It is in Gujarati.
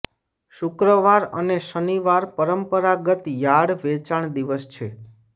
શુક્રવાર અને શનિવાર પરંપરાગત યાર્ડ વેચાણ દિવસ છે